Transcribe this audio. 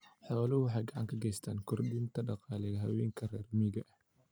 Xooluhu waxay gacan ka geystaan ??kordhinta dakhliga haweenka reer miyiga ah.